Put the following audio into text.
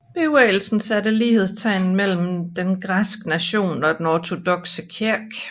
Bevægelsen satte lighedstegn mellem den græske nation og den ortodokse kirke